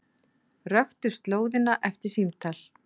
Röktu slóðina eftir símtal